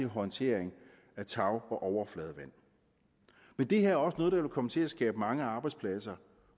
håndtering af tag og overfladevand men det her er også noget der vil komme til at skabe mange arbejdspladser